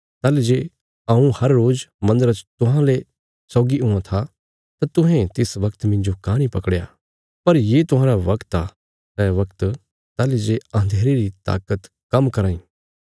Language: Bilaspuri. ताहली जे हऊँ हर रोज मन्दरा च तुहांजो सौगी हुआं था तां तुहें तिस बगत मिन्जो काँह नीं पकड़या पर ये तुहांरा बगत आ सै बगत ताहली जे अन्धेरे री ताकत काम्म कराँ इ